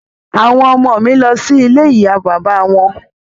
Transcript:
Àwọn ọmọ ọ̀ mi lọ sí ilé ìyá bàbá wọn